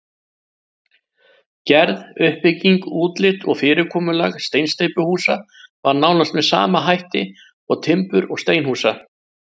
Gerð, uppbygging, útlit og fyrirkomulag steinsteypuhúsa var nánast með sama hætt og timbur- og steinhúsa.